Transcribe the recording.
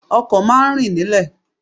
Ọkọ̀ má a ń rìn nílẹ̀